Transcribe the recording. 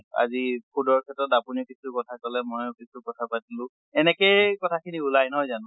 আজি food ৰ ক্ষেত্ৰত আপুনিও কিছু কথা কলে ময়ো কিছু কথা পাতিলো, এনেকেই কথা খিনি ওলায় নহয় জানো?